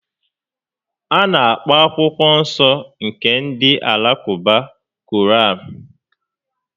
A na-akpọ akwụkwọ nsọ nke ndị Alakụba "Koraan"